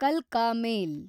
ಕಲ್ಕಾ ಮೇಲ್